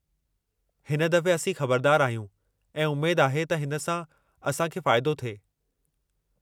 हिन दफ़े, असीं ख़बरदार आहियूं, ऐं उमेद आहे त हिन सां असां खे फ़ाइदो थिए।